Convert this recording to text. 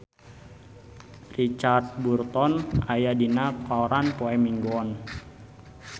Richard Burton aya dina koran poe Minggon